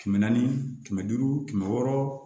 Kɛmɛ naani kɛmɛ duuru kɛmɛ wɔɔrɔ